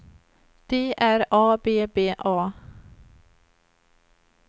D R A B B A